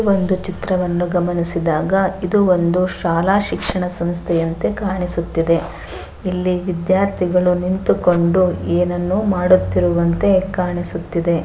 ಒಂದು ಚಿತ್ರವನ್ನು ಗಮನಿಸಿದಾಗ ಇದು ಒಂದು ಶಾಲಾ ಶಿಕ್ಷಣ ಸಂಸ್ಥೆಯಂತೆ ಕಾಣಿಸುತ್ತಿದೆ ಇಲ್ಲಿ ವಿದ್ಯಾರ್ಥಿಗಳು ನಿಂತುಕೊಂಡು ಏನನ್ನೋ ಮಾಡುತ್ತಿರುವಂತೆ ಕಾಣಿಸುತ್ತಿದೆ.